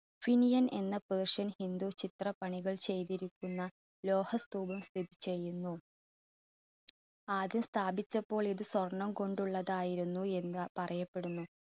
phinian എന്ന persian ഹിന്ദു ചിത്രപണികൾ ചെയ്തിരിക്കുന്ന ലോഹസ്തൂപം സ്ഥിതി ചെയ്യുന്നു. ആദ്യം സ്ഥാപിച്ചപ്പോൾ ഇത് സ്വർണ്ണം കൊണ്ടുള്ളതായിരുന്നു എന്ന് പറയപ്പെടുന്നു